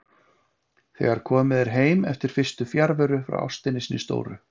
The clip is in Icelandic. Þegar komið er heim eftir fyrstu fjarveru frá ástinni sinni stóru.